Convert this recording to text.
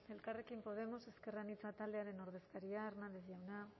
elkarrekin podemos ezker anitza taldearen ordezkaria hernández jauna